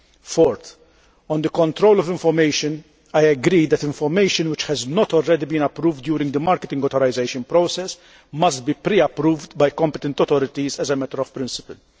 Fourthly, on the control of information, I agree that information which has not already been approved during the marketing authorisation process must be pre approved by competent authorities as a matter of principle.